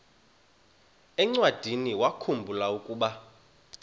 encwadiniwakhu mbula ukuba